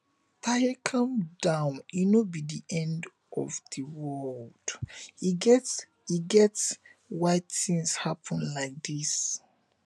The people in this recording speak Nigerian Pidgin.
taye calm down e no be the end of the world e get e get why things happen like dis